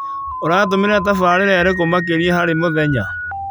ũratũmĩra tabarĩĩra irĩkũ makĩria harĩ mũthenya?